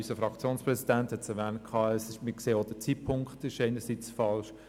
Unser Fraktionspräsident hat es erwähnt, der Zeitpunkt ist einerseits falsch.